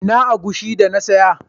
Ina agushi da na siya?